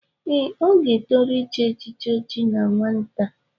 Ee, ọ ga-etoru ịchị echichi ọchi na nwata.